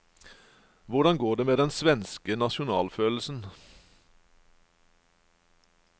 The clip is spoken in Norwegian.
Hvordan går det med den svenske nasjonalfølelsen?